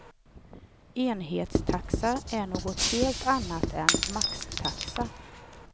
Enhetstaxa är något helt annat än maxtaxa.